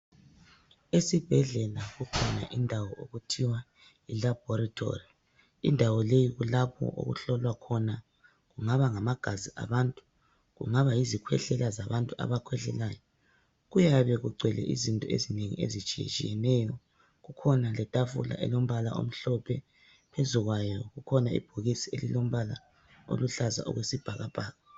Esibhedlela kukhona indawo okuthiwa yilabhoritori indawo leyi kulapho okuhlolwakhona kungaba ngamagazi abantu kungaba yizikhwehlela zabantu abakhwehlelayo kuyabe kugcwele izinto eziningi ezitshiyetshiyeneyo kukhona letafula phezukwayo kukhona ibhokisi elilombala oluhlaza okwesibhakakabhaka